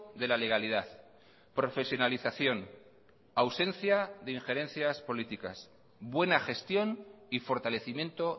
de la legalidad profesionalización ausencia de injerencias políticas buena gestión y fortalecimiento